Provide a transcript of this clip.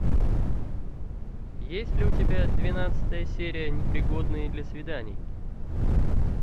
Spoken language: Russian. есть ли у тебя двенадцатая серия непригодные для свиданий